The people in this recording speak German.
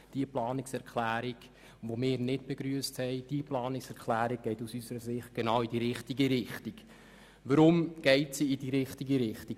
Diesen Vorstoss haben wir nicht begrüsst, jedoch geht die vorliegende Planungserklärung nun in die richtige Richtung.